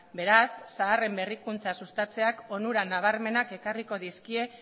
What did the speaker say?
beraz zaharren berrikuntza sustatzeak onura nabarmenak ekarriko dizkie